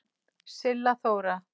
Silla Þóra.